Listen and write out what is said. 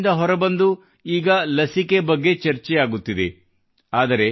lock down ನಿಂದ ಹೊರಬಂದು ಈಗ ಲಸಿಕೆ ಬಗ್ಗೆ ಚರ್ಚೆಯಾಗುತ್ತಿದೆ